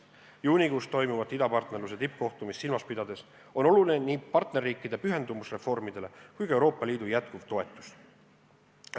Juunikuus toimuvat idapartnerluse tippkohtumist silmas pidades on oluline nii partnerriikide pühendumus reformidele kui ka Euroopa Liidu jätkuv toetus.